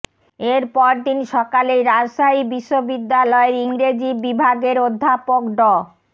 এর পরদিন সকালেই রাজশাহী বিশ্ববিদ্যালয়ের ইংরেজি বিভাগের অধ্যাপক ড